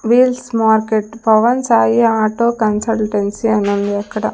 Wheels market Pavan Sai auto consultancy అనుంది అక్కడ.